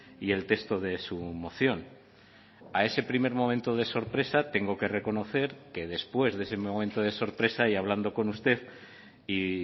y el texto de su moción a ese primer momento de sorpresa tengo que reconocer que después de ese momento de sorpresa y hablando con usted y